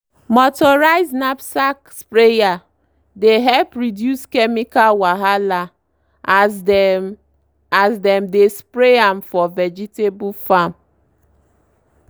motorized knapsack sprayer dey help reduce chemical wahala as dem as dem dey spray am for vegetable farm